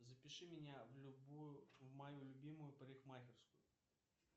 запиши меня в любую в мою любимую парикмахерскую